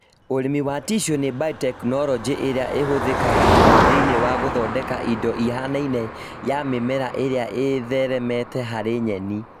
ũrĩmi wa tissue nĩ biotechnology ĩrĩa ĩhũthĩkaga mũno thĩinĩ wa gũthondeka indo ihanaine ya mĩmera ĩrĩa ïtheremete harĩ nyeni